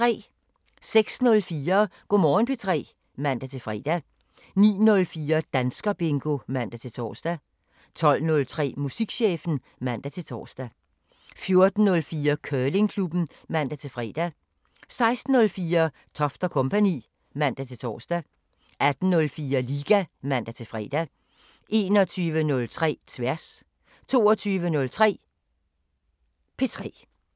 06:04: Go' Morgen P3 (man-fre) 09:04: Danskerbingo (man-tor) 12:03: Musikchefen (man-tor) 14:04: Curlingklubben (man-fre) 16:04: Toft & Co. (man-tor) 18:04: Liga (man-fre) 21:03: Tværs 22:03: P3